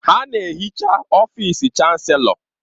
Ha na-ehicha ọfịsị Chanselọ.